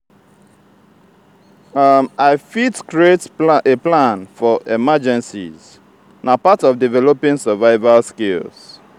i fit create a plan for emergencies; na part of developing survival skills.